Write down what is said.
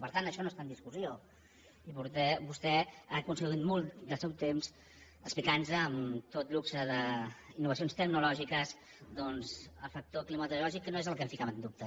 per tant això no està en discussió i vostè ha consumit molt del seu temps a explicar nos amb tot luxe d’innovacions tecnològiques doncs el factor climatològic que no és el que posava en dubte